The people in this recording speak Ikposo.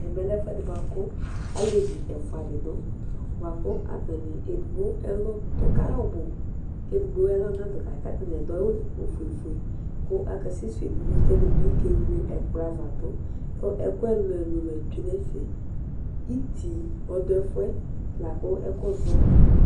Ɛvɛ lɛ ɛfʊɛdɩ bʊakʊ zlevɩ efʊa dɩ dʊ Edɩgbo ɛlɔ dʊ kayɩ ɔbʊ kedɩgbo ɛlɔ nadʊ kayɔ katanɩ adʊ awʊ ofʊe kʊ aka sɛsʊwʊ edɩnɩ kɛdɩbɩ kewle ɛkplɔ ava dʊ kʊ ɛkʊ ɛlʊɛlʊ la tsʊe nɛfɛ Ɩtɩɩ ɔdʊ ɛfʊɛ akʊ ɛkʊzɔ